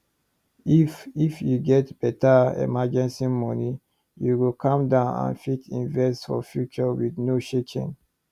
if if you get better emergency money you go calm down and fit invest for future with no shaking